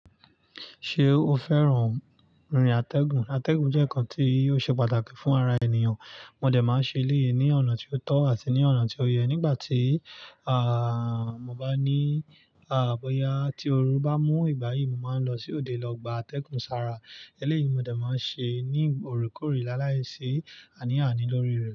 Ṣé o fẹ́ràn rìn atẹ́gùn? Atẹ́gùn jẹ́ ǹkan tí yóò ṣe pàtàkì fún ara ènìyàn. Mo dẹ̀ máa ń ṣe eléyìí ní ọ̀nà tí ó tọ́ àti ní ọ̀nà tí ó yẹ. Nígbà tí, àh, mo bá ní, àh, bóyá tí ooru bá mú ìgbáyìí, mo máa ń lọ sí òde lọ gbà atẹ́gùn sára. Eléyìí mo dẹ̀ máa ń ṣe ní òorekore lá láìsí àní àni lori re.